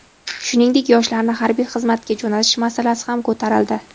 Shuningdek, yoshlarni harbiy xizmatga jo‘natish masalasi ham ko‘tarildi.